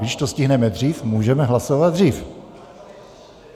Když to stihneme dřív, můžeme hlasovat dřív.